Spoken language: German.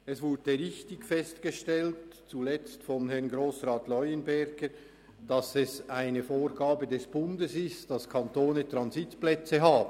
Es wurde richtig festgestellt – zuletzt von Herrn Grossrat Leuenberger –, dass es eine Vorgabe des Bundes ist, dass die Kantone Transitplätze haben.